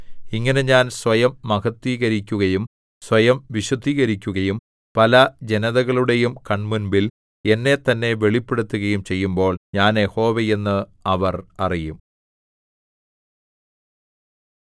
ഇങ്ങനെ ഞാൻ സ്വയം മഹത്ത്വീകരിക്കുകയും സ്വയം വിശുദ്ധീകരിക്കുകയും പല ജനതകളുടെയും കൺമുമ്പിൽ എന്നെത്തന്നെ വെളിപ്പെടുത്തുകയും ചെയ്യുമ്പോൾ ഞാൻ യഹോവ എന്ന് അവർ അറിയും